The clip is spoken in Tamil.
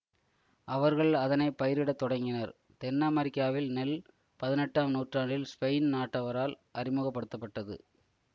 அவர்கள் அதனை பயிரிட தொடங்கினர் தென் அமெரிக்காவில் நெல் பதினெட்டாம் நூற்றாண்டில் ஸ்பெயின் நாட்டவரால் அறிமுக படுத்த பட்டது